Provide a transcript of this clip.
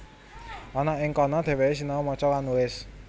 Ana ing kana dhèwèké sinau maca lan nulis